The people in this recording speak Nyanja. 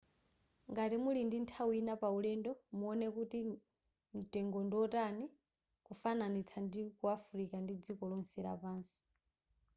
ngati muli ndi nthawi ina paulendo muone kuti mtengo ndiwotani kufananitsa ndiku afilika ndi dziko lonse lapansi